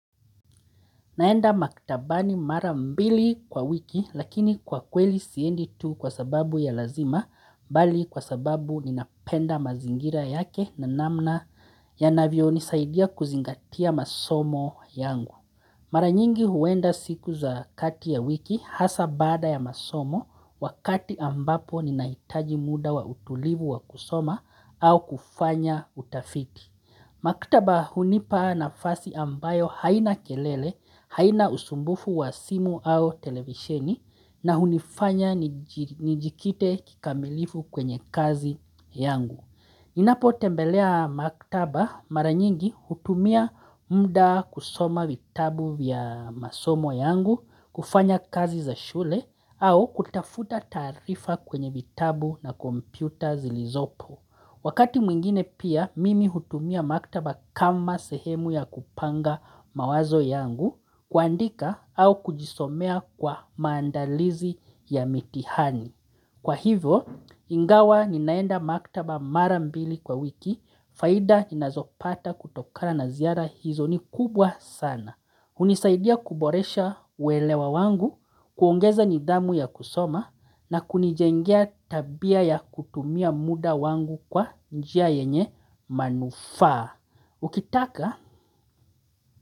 Naenda maktabani mara mbili kwa wiki lakini kwa kweli siendi tu kwa sababu ya lazima bali kwa sababu ninapenda mazingira yake na namna yanavyo nisaidia kuzingatia masomo yangu. Mara nyingi huenda siku za kati ya wiki hasa bada ya masomo wakati ambapo ninahitaji muda wa utulivu wa kusoma au kufanya utafiki. Maktaba hunipa nafasi ambayo haina kelele, haina usumbufu wa simu au televisheni na hunifanya nijikite kikamilifu kwenye kazi yangu. Ninapotembelea maktaba mara nyingi hutumia mda kusoma vitabu vya masomo yangu, kufanya kazi za shule au kutafuta taarifa kwenye vitabu na kompyuta zilizopo. Wakati mwingine pia, mimi hutumia maktaba kama sehemu ya kupanga mawazo yangu, kuandika au kujisomea kwa maandalizi ya mitihani. Kwa hivyo, ingawa ninaenda maktaba mara mbili kwa wiki, faida ninazopata kutokana na ziara hizo ni kubwa sana. Hunisaidia kuboresha uelewa wangu, kuongeza nidhamu ya kusoma na kunijengea tabia ya kutumia muda wangu kwa njia yenye manufaa. Ukitaka?